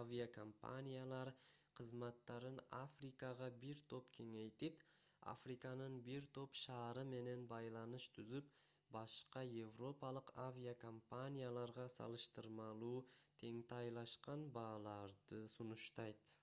авиакомпаниялар кызматтарын африкага бир топ кеңейтип африканын бир топ шаары менен байланыш түзүп башка европалык авиакомпанияларга салыштырмалуу теңтайлашкан бааларды сунуштайт